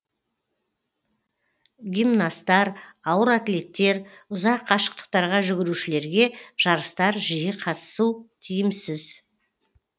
гимнасттар ауыр атлеттер ұзақ қашықтықтарға жүгірушілерге жарыстар жиі қатысу тиімсіз